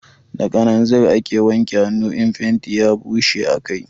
Da kananzir ake wanke hanu in fenti ya bushe a kai